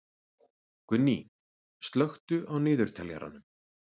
Gunný, slökktu á niðurteljaranum.